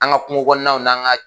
An ka kungo kɔnɔnaw n'an ka